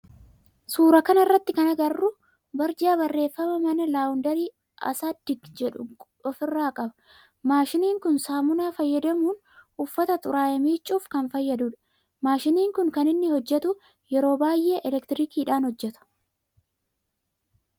Suuraa kana irratti kan agarru barjaa barreeffama mana laawundarii Assagid jedhu ofirraa qaba. Maashiniin kun saamunaa fayyadamuun uffata xuraa'e miccuuf kan fayyadudha. Maashiniin kun kan inni hojjetu yeroo baayyee elektirikiidhan hojjeta.